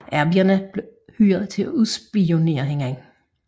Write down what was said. Arbejderne blev hyret til at udspionere hinanden